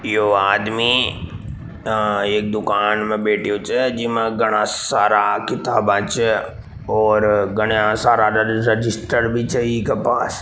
यो आदमी एक दुकान में बेठो छे जीमे घाना सारा किताबा छे और घाना सारा रजिस्टर भी छे इके पास।